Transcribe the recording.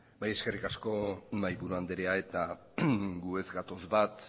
bai eskerrik asko mahaiburu anderea guk ez gatoz bat